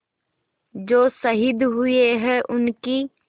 जो शहीद हुए हैं उनकी